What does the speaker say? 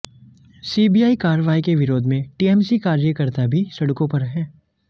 CBI कार्रवाई के विरोध में टीएमसी कार्यकर्ता भी सड़कों पर हैं